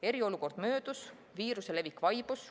Eriolukord möödus, viiruse levik vaibus.